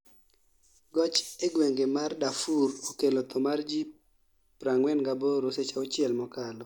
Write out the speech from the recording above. Goch e gwenge mar Dafur okelo tho mar ji 48 seche auchiel mokalo